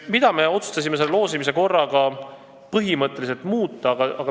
Mida me otsustasime selles loosimise korras põhimõtteliselt muuta?